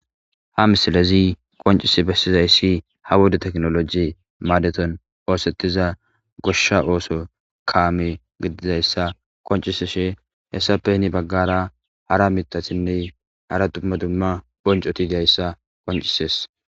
ha misilezi qoncisi bessizayssi ha wuda teknoloji maadeton oosettiza goshsha ooso kaame gididayssa konciseshe hessape ni baggara hara mitasinne hara dumma dumma boncotiidayssa koncises